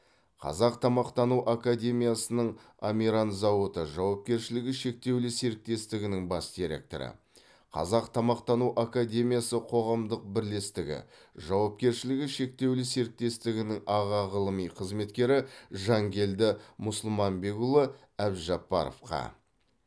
қазақ тамақтану академиясының амиран зауыты жауапкершілігі шектеулі серіктестігінің бас директоры қазақ тамақтану академиясы қоғамдық бірлестігі жауапкершілігі шектеулі серіктестігінің аға ғылыми қызметкері жанкелді мұсылманбекұлы әбжаппаровқа